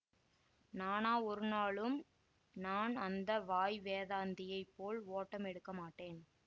நானா ஒருநாளும் நான் அந்த வாய் வேதாந்தியைப் போல் ஓட்டம் எடுக்க மாட்டேன்